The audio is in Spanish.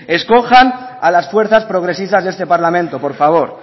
escojan a las fuerzas progresistas de este parlamento por favor